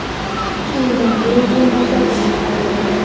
Ikki yildan keyin bu muvaffaqiyatini takrorladi.